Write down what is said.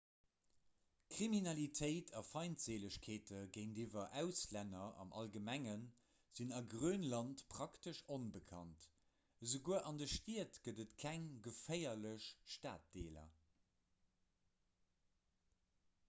kriminalitéit a feindséilegkeete géintiwwer auslänner am allgemenge sinn a grönland praktesch onbekannt esouguer an de stied gëtt et keng geféierlech staddeeler